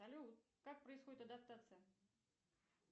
салют как происходит адаптация